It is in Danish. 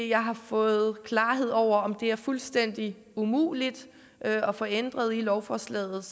jeg har fået klarhed over om det er fuldstændig umuligt at få ændret i lovforslaget